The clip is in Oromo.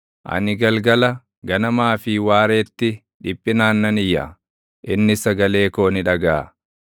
Ani galgala, ganamaa fi waareetti dhiphinaan nan iyya; innis sagalee koo ni dhagaʼa.